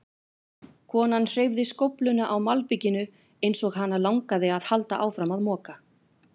Konan hreyfði skófluna á malbikinu eins og hana langaði að halda áfram að moka.